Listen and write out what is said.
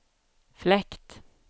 fläkt